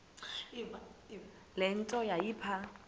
le nto yayipha